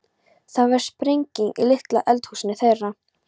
Það varð sprenging í litla eldhúsinu þeirra.